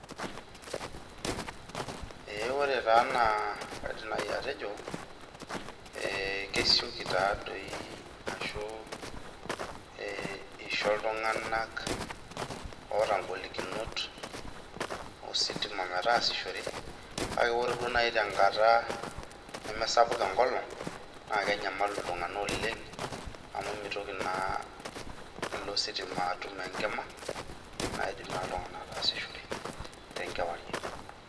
Ee ore ena naa kaidim nnaji atejo kesioki taadoi ashu isho iltunganak oota ngolikinot enkidimata metaasishore , kake ore duo naji enkata neme sapuk enkolong naa kenyamalu naa iltunganak oleng amu mitoki naa ilo sitima atum enkima , naidim naa iltunganak ataasishore tenkewarie.